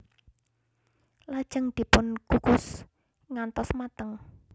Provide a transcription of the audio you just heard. Lajeng dipun kukus ngantos mateng